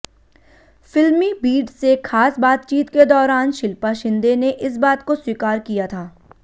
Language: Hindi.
फिल्मीबीट से खास बातचीत के दौरान शिल्पा शिंदे ने इस बात को स्वीकार किया था